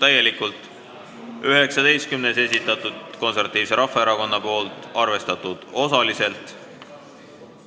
19. muudatusettepaneku on esitanud Eesti Konservatiivse Rahvaerakonna fraktsioon, arvestatud osaliselt.